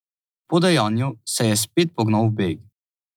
Po dejanju se je spet pognal v beg.